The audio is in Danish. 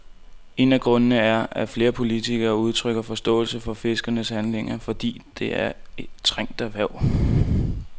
En af grundene er, at flere politikere udtrykker forståelse for fiskernes handlinger, fordi det er et trængt erhverv.